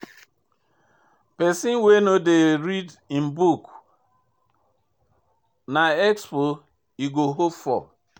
Pesin wey no dey read im book na expo im go hope for.